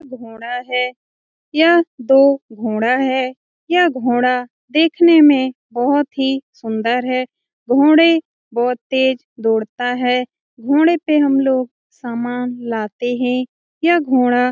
घोड़ा है यह दो घोड़ा है यह घोड़ा देखने में बहोत ही सुन्दर है घोड़े बहोत तेज दौड़ता है घोड़े पे हम लोग सामान लाते हैं यह घोड़ा --